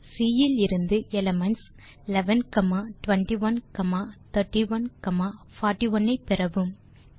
பின் C இலிருந்து elements 11 21 31 41 ஐ பெறவும்